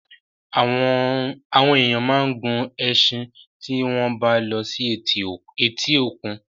Àwọn èèyàn máa ń gun ẹṣin tí wọ́n bá lọ sí etí òkun.